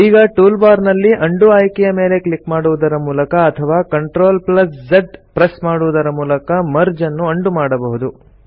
ಈಗ ಟೂಲ್ಬಾರ್ ನಲ್ಲಿ ಉಂಡೋ ಆಯ್ಕೆಯ ಮೇಲೆ ಕ್ಲಿಕ್ ಮಾಡುವುದರ ಮೂಲಕ ಅಥವಾ CTRL Z ಪ್ರೆಸ್ ಮಾಡುವುದರ ಮೂಲಕ ಮರ್ಜ್ ಅನ್ನು ಉಂಡೋ ಮಾಡಬಹುದು